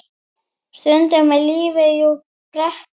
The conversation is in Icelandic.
Stundum er lífið jú brekka.